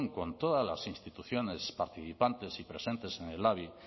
con todas las instituciones participantes y presentes en el labi